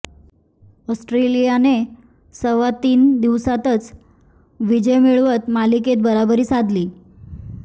ऑस्ट्रेलियाने सव्वा तीन दिवसांतच विजय मिळवत मालिकेत बरोबरी साधली